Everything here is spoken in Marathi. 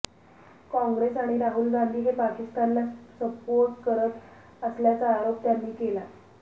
काँग्रेस आणि राहुल गांधी हे पाकिस्तान ला सपोर्ट करत असल्याचा आरोप त्यांनी केला